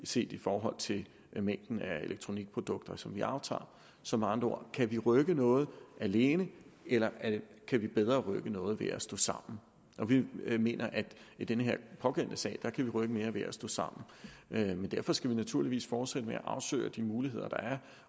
set i forhold til mængden af elektronikprodukter som vi aftager så med andre ord kan vi rykke noget alene eller kan vi bedre rykke noget ved at stå sammen vi mener at vi i den pågældende sag kan rykke mere ved at stå sammen men derfor skal vi naturligvis fortsætte med at afsøge de muligheder der er